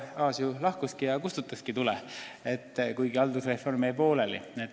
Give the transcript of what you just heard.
Arto Aas lahkuski ja kustutaski tule, kuigi haldusreform jäi pooleli.